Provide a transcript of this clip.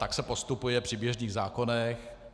Tak se postupuje při běžných zákonech.